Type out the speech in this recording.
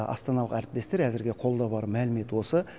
астаналық әріптестер әзірге қолда бар мәлімет осы